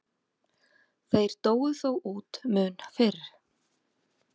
Þeir dóu þó út mun fyrr.